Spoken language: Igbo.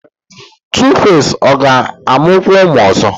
Tuface ọ ga-amụkwu ụmụ ozo?